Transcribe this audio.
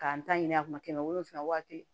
K'an ta ɲini a kunna waati